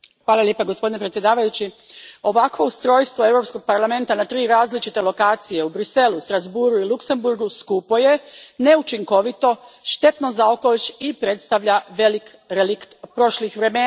Gospodine predsjedniče, ovakvo ustrojstvo Europskog parlamenta na tri različite lokacije, u Bruxellesu, Strasbourgu i Luksemburgu, skupo je, neučinkovito, štetno za okoliš i predstavlja velik relikt prošlih vremena.